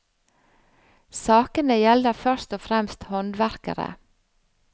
Sakene gjelder først og fremst håndverkere.